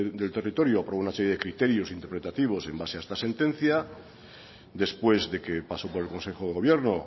del territorio aprobó una serie de criterios interpretativos en base a esta sentencia después de que pasó por el consejo de gobierno